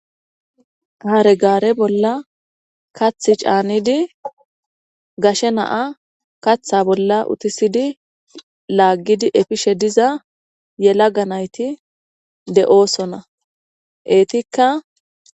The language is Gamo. Hare gaare bolla kathi caanidi gashe naa kaththa bolla utisidi laaggidi efishe diza yela ganayti de7oosona eetikka.